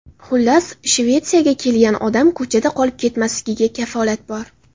Xullas, Shvetsiyaga kelgan odam ko‘chada qolib ketmasligiga kafolat bor.